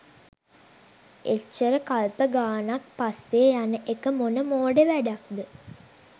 එච්චර කල්ප ගානක් පස්සේ යන එක මොන මෝඩ වැඩක්ද?